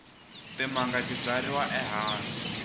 timanga ti byariwa ehansi